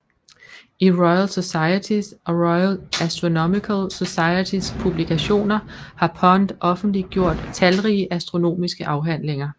I Royal Societys og Royal Astronomical Societys publikationer har Pond offentliggjort talrige astronomiske afhandlinger